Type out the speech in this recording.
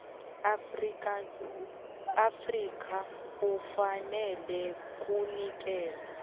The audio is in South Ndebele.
afrika ufaneleka kunikelwa